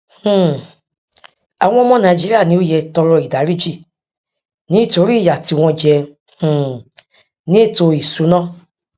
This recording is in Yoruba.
um àwọn ọmọ nàìjíríà ni ó yẹ tọrọ ìdáríjì nítorí ìyà tí wọn jẹ um ní ètò ìsúná